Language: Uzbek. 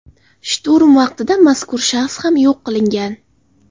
Shturm vaqtida mazkur shaxs ham yo‘q qilingan.